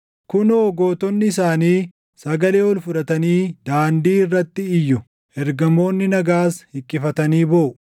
Kunoo gootonni isaanii sagalee ol fudhatanii daandii irratti iyyu; ergamoonni nagaas hiqqifatanii booʼu.